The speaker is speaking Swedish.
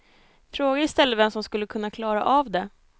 Fråga i stället vem som skulle kunna klara av det.